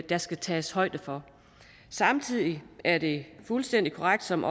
der skal tages højde for samtidig er det fuldstændig korrekt som